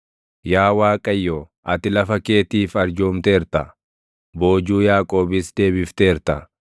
Yaa Waaqayyo, ati lafa keetiif arjoomteerta; boojuu Yaaqoobis deebifteerta.